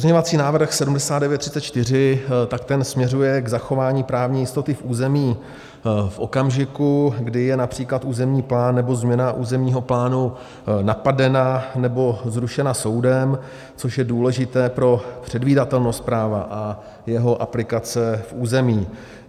Pozměňovací návrh 7934, tak ten směřuje k zachování právní jistoty v území v okamžiku, kdy je například územní plán nebo změna územního plánu napadena nebo zrušena soudem, což je důležité pro předvídatelnost práva a jeho aplikace v území.